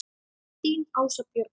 Þín Ása Björg.